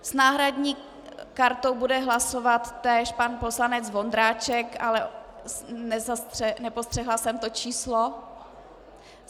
S náhradní kartou bude hlasovat též pan poslanec Vondráček, ale nepostřehla jsem to číslo.